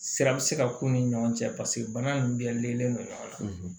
Sira bɛ se ka k'u ni ɲɔgɔn cɛ paseke bana in dilanlen don ɲɔgɔn na